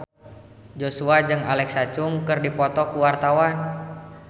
Joshua jeung Alexa Chung keur dipoto ku wartawan